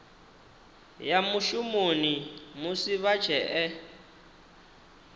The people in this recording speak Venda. ya mushumoni musi vha tshee